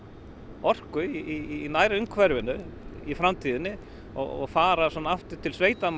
orku í nærumhverfinu í framtíðinni og fara svona aftur til